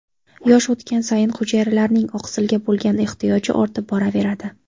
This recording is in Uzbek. Yosh o‘tgani sayin hujayralarning oqsilga bo‘lgan ehtiyoji ortib boraveradi.